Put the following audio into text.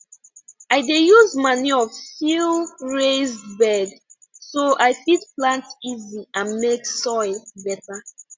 i dey use manure fill raised bed so i fit plant easy and make soil better